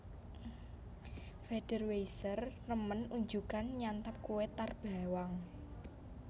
Federweisser remen unjukan nyantap kue tar bawang